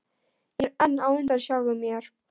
Ég er enn á undan sjálfum mér.